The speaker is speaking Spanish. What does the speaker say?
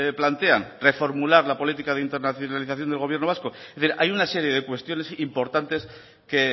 plantean reformular la política de internacionalización del gobierno vasco es decir hay una serie de cuestiones importantes que